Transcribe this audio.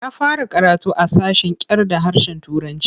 Ya fara karatu a sashen kyarda harshen Turanci.